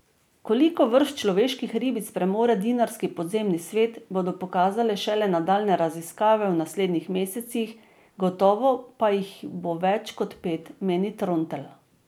Koliko vrst človeških ribic premore dinarski podzemni svet, bodo pokazale šele nadaljnje raziskave v naslednjih mesecih, gotovo pa jih bo več kot pet, meni Trontelj.